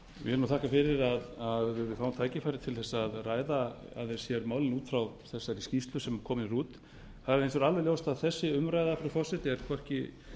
vil þakka fyrir að við fáum tækifæri til að ræða aðeins sérmálin út frá þessari skýrslu sem komin er út það er hins vegar alveg ljóst að þessi umræða frú forseti er hvorki